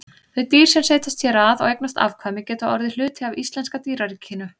Þau dýr sem setjast hér að og eignast afkvæmi geta orðið hluti af íslenska dýraríkinu.